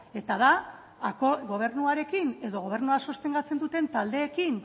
eta da gobernuarekin edo gobernua sostengatzen duten taldeekin